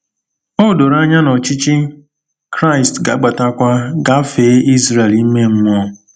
O doro anya na ọchịchị Kraịst ga-agbatakwa gafee Izrel ime mmụọ.